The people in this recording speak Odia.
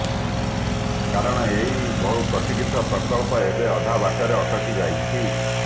କାରଣ ଏହି ବହୁ ପ୍ରତିକ୍ଷିତ ପ୍ରକଳ୍ପ ଏବେ ଅଧା ବାଟରେ ଅଟକି ଯାଇଛି